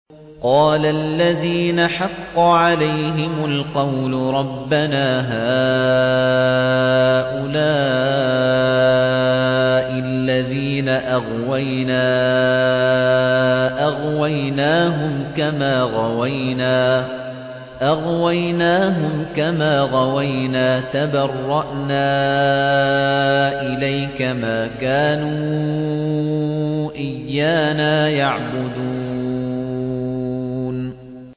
قَالَ الَّذِينَ حَقَّ عَلَيْهِمُ الْقَوْلُ رَبَّنَا هَٰؤُلَاءِ الَّذِينَ أَغْوَيْنَا أَغْوَيْنَاهُمْ كَمَا غَوَيْنَا ۖ تَبَرَّأْنَا إِلَيْكَ ۖ مَا كَانُوا إِيَّانَا يَعْبُدُونَ